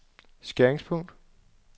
skæringspunkt